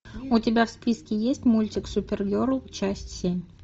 у тебя в списке есть мультик супергерл часть семь